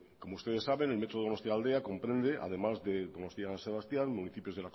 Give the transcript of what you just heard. como ustedes saben el metro de donostialdea comprende además de donostia san sebastián municipios